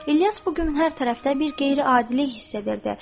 İlyas bu gün hər tərəfdə bir qeyri-adilik hiss edirdi.